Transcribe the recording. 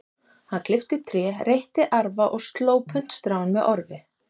Hann klippti tré, reytti arfa og sló puntstráin með orfi.